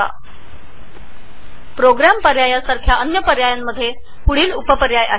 अनेक पर्यायांपैकी प्रोग्राम ऑप्शन्सला उपपर्याय आहेत